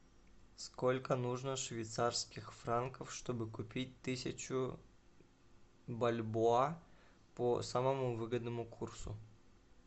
сколько нужно швейцарских франков чтобы купить тысячу бальбоа по самому выгодному курсу